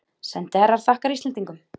Sendiherra þakkar Íslendingum